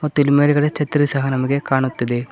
ಮತ್ತು ಇಲ್ಲಿ ಮೇಲ್ಗಡೆ ಛತ್ರಿ ಸಹ ನಮಗೆ ಕಾಣುತ್ತಿದೆ.